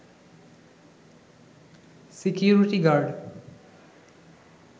security guard